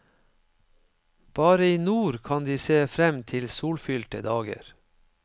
Bare i nord kan de se frem til solfylte dager.